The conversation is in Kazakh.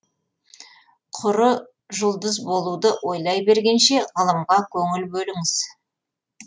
құры жұлдыз болуды ойлай бергенше ғылымға көңіл бөліңіз